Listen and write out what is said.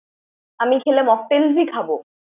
আমি খেলে Mocktails ই খাব।